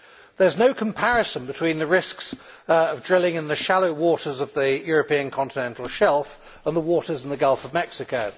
There is no comparison between the risks of drilling in the shallow waters of the European continental shelf and the waters in the Gulf of Mexico.